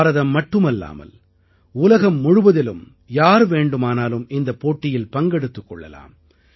பாரதம் மட்டுமல்லாமல் உலகம் முழுவதிலும் யார் வேண்டுமானாலும் இந்தப் போட்டியில் பங்கெடுத்துக் கொள்ளலாம்